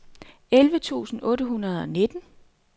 elleve tusind otte hundrede og nitten